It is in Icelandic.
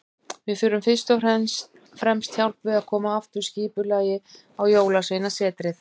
Við þurfum fyrst og fremst hjálp við að koma aftur skipulagi á Jólasveinasetrið.